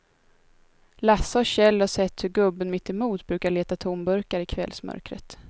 Lasse och Kjell har sett hur gubben mittemot brukar leta tomburkar i kvällsmörkret.